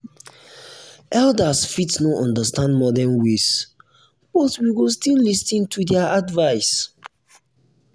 elders fit no understand modern ways but we go still lis ten to their advice.